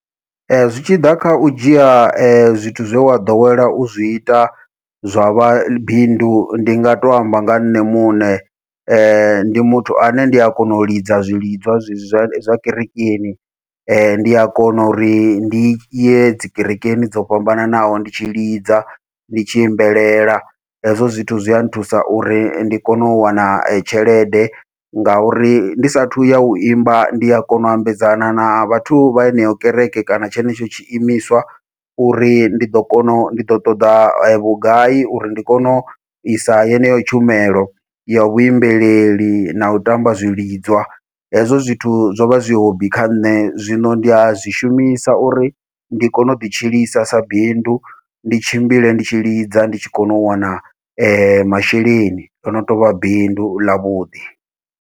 Ee zwi tshi ḓa khau dzhia zwithu zwe wa ḓowela uzwi ita zwavha bindu, ndi nga to amba nga nṋe muṋe ndi muthu ane ndi a kona u lidza zwilidzwa zwezwi zwa zwa kerekeni, ndi a kona uri ndi ye dzi kerekeni dzo fhambananaho ndi tshi lidza ndi tshi imbelela hezwo zwithu zwi a nthusa uri ndi kone u wana tshelede, ngauri ndi sathu ya u imba ndi a kona u ambedzana na vhathu vha yeneyo kereke kana tshenetsho tshiimiswa uri ndi ḓo kona u ndi ḓo ṱoḓa vhugai uri ndi kone u isa yeneyo tshumelo ya vhaimbeleli nau tamba zwilidzwa. Hezwo zwithu zw vha zwi hobby kha nṋe zwino ndi a zwi shumisa uri ndi kone u ḓi tshilisa sa bindu ndi tshimbile ndi tshi lidza ndi tshi kona u wana masheleni ḽono tovha bindu ḽa vhuḓi.